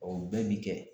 bɛɛ bi kɛ